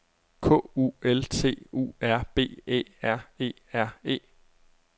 K U L T U R B Æ R E R E